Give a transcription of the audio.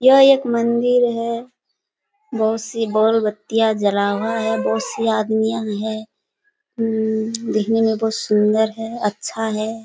ये एक मंदिर है बहुत सी बल्ब बत्तियाँ जला हुआ है बहुत सी आदमियाँ हैं हम्म देखने में बहुत सुंदर है अच्छा है।